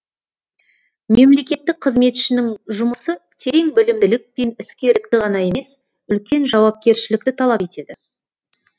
мемлекеттік қызметшінің жұмысы терең білімділік пен іскерлікті ғана емес үлкен жауапкершілікті талап етеді